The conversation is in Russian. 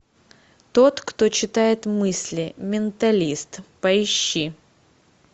тот кто читает мысли менталист поищи